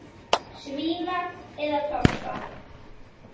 Svína eða toppa?